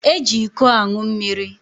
Eji ịkọ aṅụ mmiri.